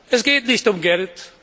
Es geht nicht um Geld.